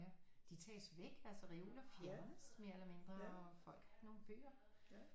Ja de tages væk altså reoler fjernes mere eller mindre og folk har ikke nogen bøger